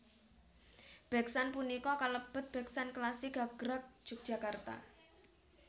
Beksan punika kalebet beksan klasik gagrag Yogyakarta